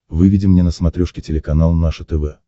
выведи мне на смотрешке телеканал наше тв